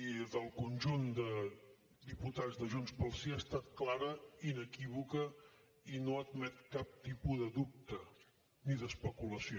i del conjunt de diputats de junts pel sí ha estat clara inequívoca i no admet cap tipus de dubte ni d’especulació